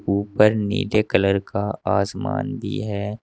ऊपर नीले कलर का आसमान भी है।